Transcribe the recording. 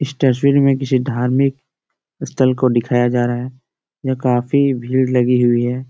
इस तस्वीर में किसी धार्मिक स्थल को दिखाया जा रहा है यह काफी भीड़ लगी हुई हैं।